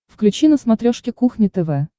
включи на смотрешке кухня тв